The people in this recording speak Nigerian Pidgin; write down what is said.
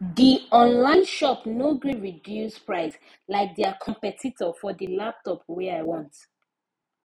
the online shop no gree reduce price like their competitor for the laptop wey i want